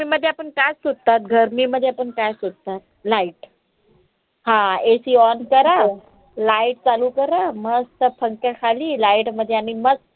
गर्मीमध्ये आपण काय शोधतात? गर्मीमध्ये आपण काय शोधतात? light हा ACon करा light चालू करा मस्त पंख्या खाली light मध्ये आणि म